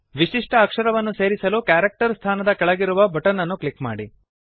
ವಿಶಿಷ್ಟ ಅಕ್ಷರವನ್ನು ಸೇರಿಸಲು ಕ್ಯಾರೆಕ್ಟರ್ ಸ್ಥಾನದ ಕೆಳಗಿರುವ ಬಟನ್ ಅನ್ನು ಕ್ಲಿಕ್ ಮಾಡಿ